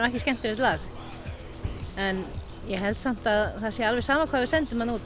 ekki skemmtilegt lag en ég held samt að það sé alveg sama hvað við sendum þarna út